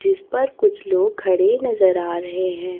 जिस पर कुछ लोग खड़े नजर आ रहे हैं।